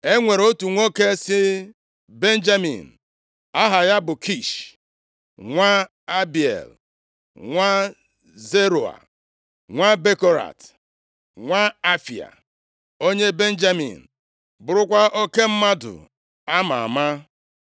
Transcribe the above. E nwere otu nwoke si Benjamin aha ya bụ Kish nwa Abiel, nwa Zeroa, nwa Bekorat, nwa Afia, onye Benjamin, burukwa oke mmadụ a maa ama.